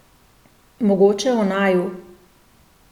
Mogoče o naju.